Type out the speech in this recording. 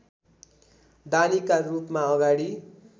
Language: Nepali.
दानीका रूपमा अगाडि